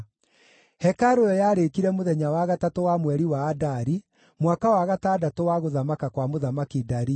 Hekarũ ĩyo yarĩkire mũthenya wa gatatũ wa mweri wa Adari, mwaka wa gatandatũ wa gũthamaka kwa Mũthamaki Dario.